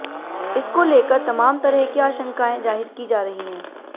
इसको लेकर तमात तरह की आशंकाएं जाहिर की जा रही हैं